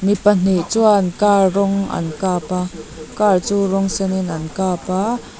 mi pahnih chuan car rawng an kap a car chu rawng senin an kap a --